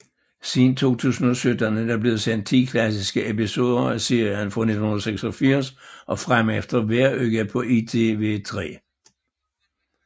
Siden 2017 er der blevet sendt 10 klassiske episoder af serien fra 1986 og fremefter hver uge på ITV3